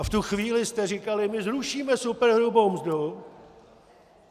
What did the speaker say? A v tu chvíli jste říkali "my zrušíme superhrubou mzdu".